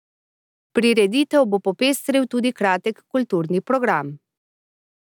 Prireditev bo popestril tudi kratek kulturni program.